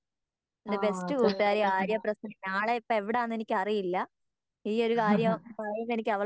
ആ ഹ ഹ